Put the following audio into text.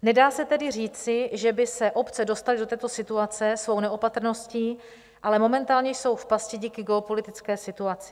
Nedá se tedy říci, že by se obce dostaly do této situace svojí neopatrností, ale momentálně jsou v pasti díky geopolitické situaci.